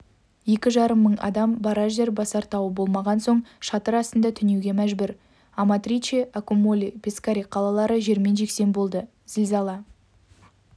екі жарым мың адам барар жер басар тауы болмаған соң шатыр астында түнеуге мәжбүр аматриче аккумоли пескаре қалалары жермен-жексен болды зілзала